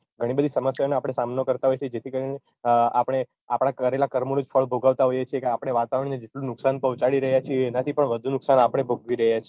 ઘણી બધી સમસ્યાઓનો આપણે સામનો કરતાં હોઈએ છે જેથી કરીને આપણે આપણા કરેલા કર્મોનું ફળ ભોગવતાં હોઈએ છીએ કે આપડે વાતાવરણને જેટલું નુકશાન પોહચાડી રહ્યાં છીએ એનાં થી પણ વધુ નુકશાન આપણે ભોગવી રહ્યાં છીએ